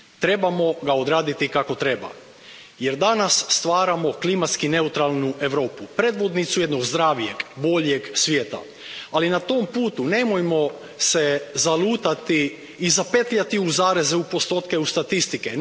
Trebamo ga odraditi kako treba, jer danas stvaramo klimatski neutralnu Europu, predvodnicu jednog zdravijeg, boljeg svijeta, ali na tom putu nemojmo zalutati i spetljati se u zareze, u postotke i statistike.